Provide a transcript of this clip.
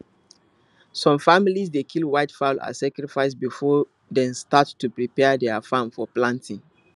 some families dey kill white fowl as sacrifice before dem start to prepare their farm for planting